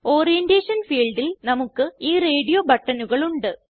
orientation ഫീൽഡിൽ നമുക്ക് ഈ റേഡിയോ ബട്ടണുകൾ ഉണ്ട്